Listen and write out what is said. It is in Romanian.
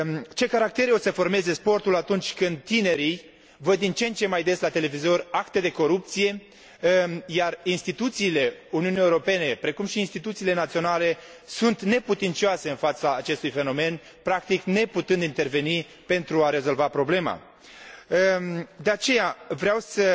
Ce caractere o să formeze sportul, atunci când tinerii văd la televizor, din ce în ce mai des, acte de corupție, iar instituțiile Uniunii Europene, precum și instituțiile naționale, sunt neputincioase în fața acestui fenomen, practic neputând interveni pentru a rezolva problema? De aceea, vreau să